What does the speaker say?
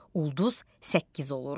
Ulduz səkkiz olur.